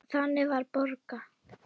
Þannig var Borga.